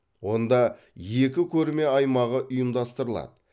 онда екі көрме аймағы ұйымдастырылады